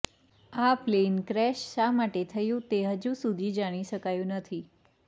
આ plane crash શા માટે થયું તે હજુ સુધી જાણી શકાયું નથી